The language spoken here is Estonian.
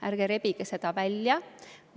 Ärge rebige seda välja.